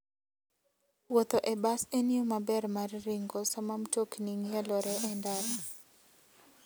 Wuotho e bas en yo maber mar ringo sama mtokni ng'ielore e ndara.